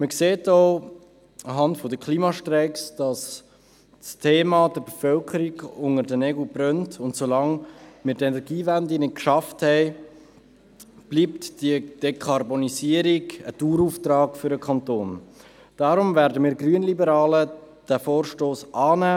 Die Klimastreiks machen deutlich, dass das Thema der Bevölkerung unter den Nägeln brennt, und solange wir die Energiewende nicht geschafft haben, bleibt die Dekarbonisierung für den Kanton ein Dauerauftrag.